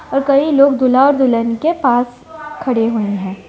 और कई लोग दूल्हा और दुल्हन के पास खड़े हुए हैं।